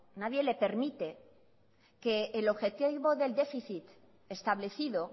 nadie le permite que el objetivo del déficit establecido